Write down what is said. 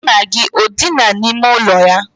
Nna gị o dina n'ime ụlọ ya?